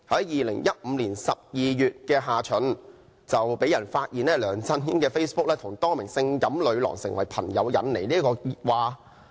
2015年12月下旬，有人發現梁振英的 Facebook 帳戶與多名性感女郎結成朋友，引起熱話。